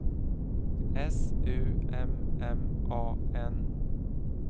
S U M M A N